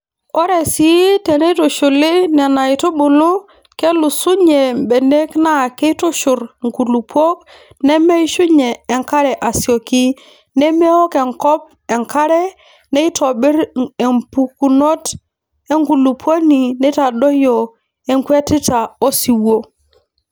Ore sii teneitushuli Nena aitubulu kesulunye mbenek naa keitushurr nkulupuok nemeishunye enkare asioki nemeok enkop enkare neitobirr empukunoto enkulupuoni neitadoiyio enkwetita osiwuo.